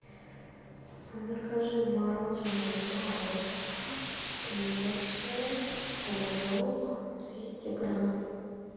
закажи мороженое морозко сливочное рожок двести грамм